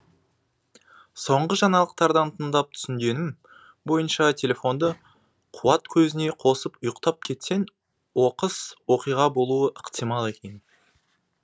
соңғы жаңалықтардан тыңдап түсінгенім бойынша телефонды қуат көзіне қосып ұйықтап кетсең оқыс оқиға болуы ықтимал екен